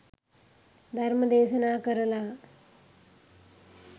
ධර්ම දේශනා කරලා